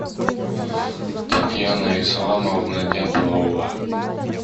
татьяна исламовна дятлова